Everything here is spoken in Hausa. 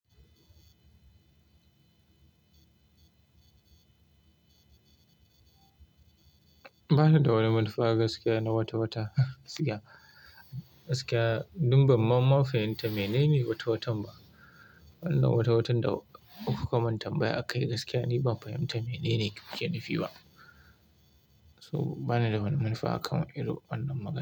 Ba ni da wani manufa gaskiya na watawata, gaskiya. Gaskiya, dun banma ma fahimta mene ne wata watan ba? Wannan wata watan da kuka man tambaya a kai gaskiya ni ban fahimta mene ne kuke nufi ba. So ba ni da wani manufa akan irin wannan magana.